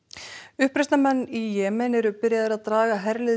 uppreisnarmenn í Jemen eru byrjaðir að draga herlið